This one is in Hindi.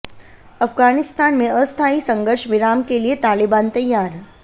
अफ़ग़ानिस्तान में अस्थायी संघर्ष विराम के लिए तालेबान तैयार